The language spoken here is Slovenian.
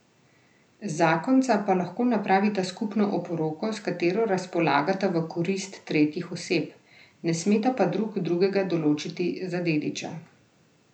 Zakonca pa lahko napravita skupno oporoko, s katero razpolagata v korist tretjih oseb, ne smeta pa drug drugega določiti za dediča.